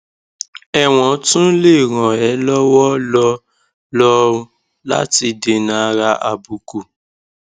ẹwọn tún lè ràn é lọwọ lọ lọn láti dènàárà àbùkù